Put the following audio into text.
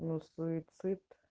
ну суицид